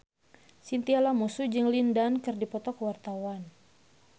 Chintya Lamusu jeung Lin Dan keur dipoto ku wartawan